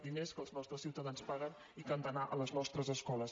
diners que els nostres ciutadans paguen i que han d’anar a les nostres escoles